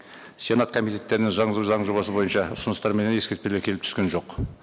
сенат комитеттеріне заң жобасы бойынша ұсыныстар менен ескертпелер келіп түскен жоқ